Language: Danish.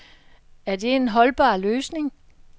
Er det en holdbar løsning?